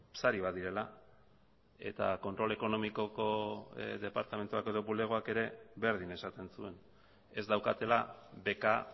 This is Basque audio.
sari bat direla eta kontrol ekonomikoko departamentuak edo bulegoak ere berdin esaten zuen ez daukatela beka